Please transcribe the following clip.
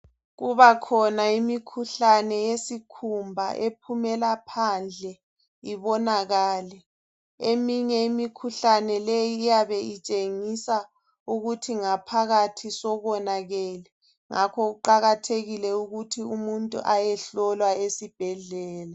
Kubakhona imikhuhlane yesikhumba epheumela phandle ibonakale. Eminye yale imikhuhlane, iyabe itshengisa ukuthi ngaphakathi sekonakele. Ngakho kuqakathekile ukuthi umuntu ayehlolwa esibhedlela.